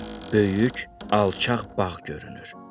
Böyük, alçaq bağ görünür.